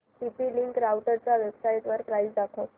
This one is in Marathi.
टीपी लिंक राउटरच्या वेबसाइटवर प्राइस दाखव